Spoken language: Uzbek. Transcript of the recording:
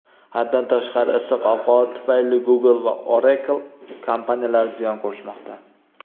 Haddan tashqari issiq ob-havo tufayli Google va Oracle kompaniyalari ziyon ko‘rishmoqda.